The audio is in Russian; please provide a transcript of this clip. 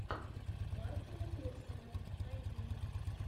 мартина пирсона найди